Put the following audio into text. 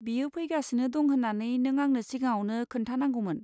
बियो फैगासिनो दं होन्नानै नों आंनो सिगाङावनो खोन्थानांगौमोन।